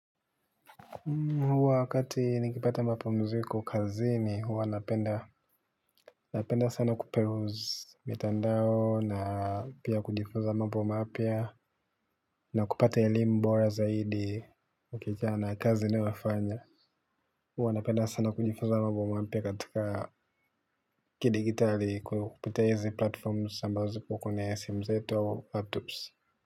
Wakati nikipata mapumziko kazini huwa napenda sana kupeluzi mtandao na pia kujifunza mambo mapya na kupata ilimbo zaidi na kazi ninayo fanya huwa napenda sana kujifunza mambo mapya katika kidijitali kupitia hizi platforms ambazo kukune simu zetu wa laptops.